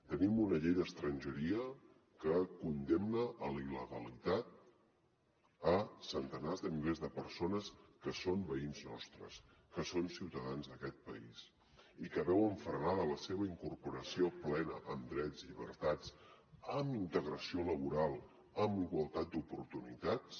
tenim una llei d’estrangeria que condemna a la il·legalitat centenars de milers de persones que són veïns nostres que són ciutadans d’aquest país i que veuen frenada la seva incorporació plena amb drets llibertats amb integració laboral amb igualtat d’oportunitats